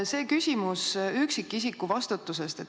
Küsimus on üksikisiku vastutusest.